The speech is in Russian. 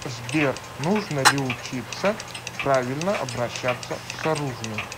сбер нужно ли учиться правильно обращаться с оружием